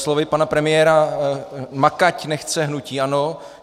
Slovy pana premiéra makať nechce hnutí ANO.